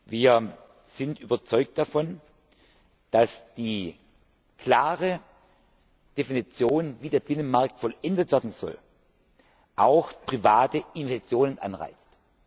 Weg ist. Wir sind überzeugt davon, dass die klare Definition, wie der Binnenmarkt vollendet werden soll, auch private Investitionen